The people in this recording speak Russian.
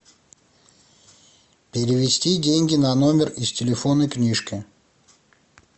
перевести деньги на номер из телефонной книжки